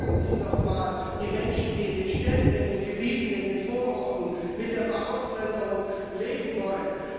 Fragen Sie doch mal die Menschen, die in den Städten, in den Gebieten, in den Vororten mit der Verausländerung leben wollen.